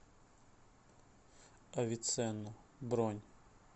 авиценна бронь